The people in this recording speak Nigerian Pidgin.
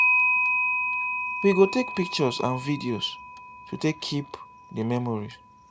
we go take pictures and video to take keep di memories